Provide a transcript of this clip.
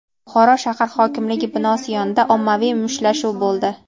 Buxoro shahar hokimligi binosi yonida ommaviy mushtlashuv bo‘ldi.